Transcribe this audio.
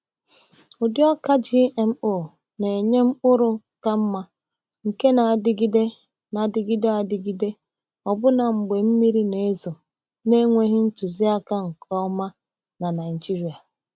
Ụdị ọka GMO na-enye mkpụrụ ka mma nke na-adịgide na-adịgide adịgide ọbụna mgbe mmiri na-ezo na-enweghị ntụziaka nke ọma na Naijiria.